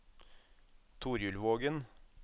Torjulvågen